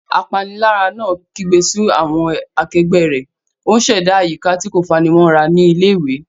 Apanilára náà kígbe sí àwọn akẹgbẹ́ rẹ̀, ó ń ṣẹ̀dá àyíká tí kò fanimọ́ra ní ilé-ìwé.